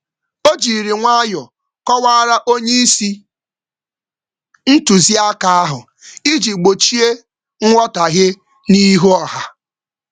Ọ kọwara ntuziaka na oga nwayọọ iji zere nghọtahie n’ihu ọha.